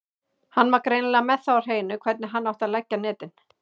Hann var greinilega með það á hreinu hvernig hann átti að leggja netin.